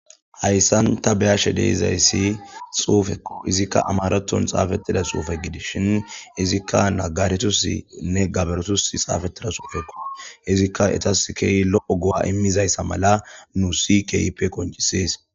Hayssan ta beyashe deizayssi xuufekku izikka amaraton xaafettida suufe gidis shin izikka nagaretusi nne gaberetus xaafettida xuufekko izikka etaskey lo7o gu7a immizayssa mala nu si keype qoncisees.